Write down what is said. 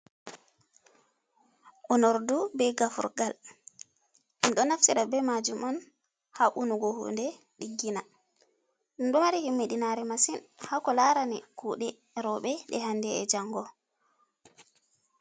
Onordu be gafurgal minɗo naftira be majum on ha unugo hunde diggina, ɗum ɗo mari himmidinare masin hako larani kuɗe roɓe ɗe hande e jango.